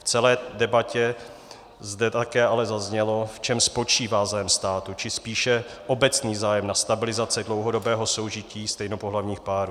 V celé debatě zde ale také zaznělo, v čem spočívá zájem státu, či spíše obecný zájem na stabilizaci dlouhodobého soužití stejnopohlavních párů.